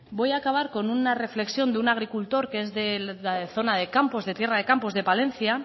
voy acabar con una reflexión de un agricultor que es de la zona de campos de tierra de campos de palencia